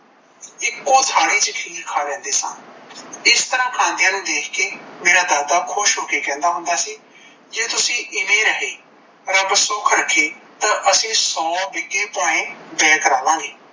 ਇੱਕੋ ਥਾਲੀ ਚ ਚੀਜ ਖ ਲੈਂਦੇ ਸਾਂ, ਇਸ ਤਰਾਂ ਖਾਂਦਿਆ ਨੂੰ ਦੇਖ ਕੇ ਮੇਰਾ ਦਾਦਾ ਖੁਸ਼ ਹੋ ਕੇ ਕਹਿੰਦਾ ਹੁੰਦਾ ਸੀ, ਜੇ ਤੁਸੀਂ ਇਵੇ ਰਹੇ ਰੱਬ ਸੁੱਖ ਰੱਖੇ ਤਾਂ ਆਸੀ ਸੋ ਬਿਘੇ ਭੋਏ ਬੇਹ ਕਰਾਂ ਲਾਂ ਗੇ